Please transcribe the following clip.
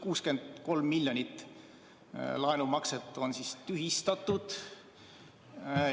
63 miljonit laenumakset on tühistatud.